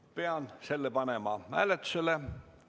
Pean selle panema hääletusele.